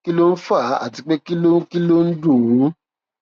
kí ló ń fà á àti pé kí ló ń kí ló ń dùn ùn